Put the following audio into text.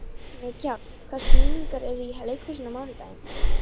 Mikjáll, hvaða sýningar eru í leikhúsinu á mánudaginn?